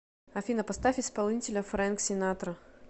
афина поставь исполнителя фрэнк синатра